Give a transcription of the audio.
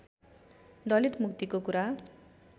दलित मुक्तिको कुरा